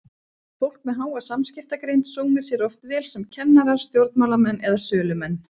Fólk með háa samskiptagreind sómir sér oft vel sem kennarar, stjórnmálamenn eða sölumenn.